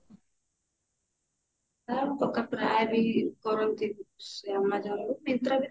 ମୋ କକା ପ୍ରାୟ ବି କରନ୍ତି amazon ରୁ myntra ବି କରନ୍ତି